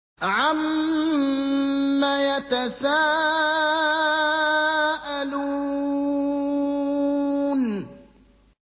عَمَّ يَتَسَاءَلُونَ